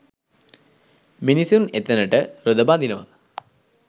මිනිසුන් එතනට රොද බඳිනවා.